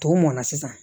Tɔw mɔnna sisan